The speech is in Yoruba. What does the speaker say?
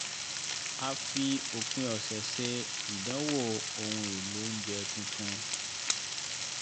a fi òpin ọ̀sẹ̀ ṣe ìdánwò ohun èlò oúnjẹ tuntun